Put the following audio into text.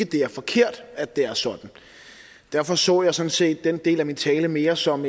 det er forkert at det er sådan derfor så jeg sådan set den del af min tale mere som